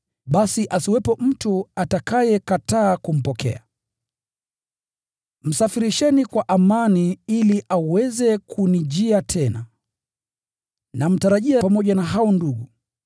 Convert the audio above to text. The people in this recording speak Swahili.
Basi asiwepo mtu atakayekataa kumpokea. Msafirisheni kwa amani ili aweze kunijia tena. Namtarajia pamoja na ndugu.